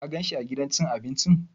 Ka gan shi a gidan cin abincin?